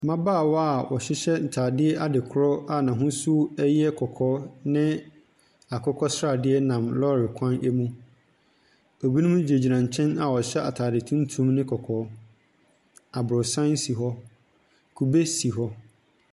Mmabaawa a wɔhyehyɛ ntadeɛ adekora a n'ahosuo yɛ kakaa ne akokɔsradeɛ nam lɔɔre kwan mu. Binom gyinagyina nkyɛn a wɔhyɛ atade tuntum ne kɔkɔɔ. Aborɔsan si hɔ. Kube si hɔ.